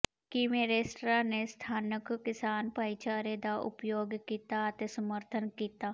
ਕਿਵੇਂ ਰੈਸਟਰਾਂ ਨੇ ਸਥਾਨਕ ਕਿਸਾਨ ਭਾਈਚਾਰੇ ਦਾ ਉਪਯੋਗ ਕੀਤਾ ਅਤੇ ਸਮਰਥਨ ਕੀਤਾ